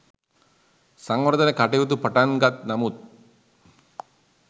සංවර්ධන කටයුතු පටන්ගත් නමුත්